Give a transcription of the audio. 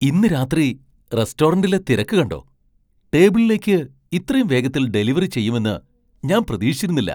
ഇന്ന് രാത്രി റെസ്റ്റോറന്റിലെ തിരക്ക് കണ്ടോ, ടേബിളിലേക്ക് ഇത്രയും വേഗത്തിൽ ഡെലിവറി ചെയ്യുമെന്ന് ഞാൻ പ്രതീക്ഷിച്ചിരുന്നില്ല.